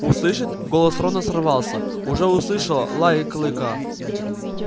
услышит голос рона сорвался уже услышало лай клыка